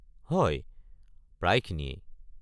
হয়, প্রায়খিনিয়েই।